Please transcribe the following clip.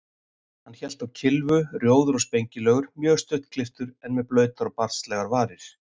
Hann hélt á kylfu, rjóður og spengilegur, mjög stuttklipptur, en með blautar og barnslegar varir.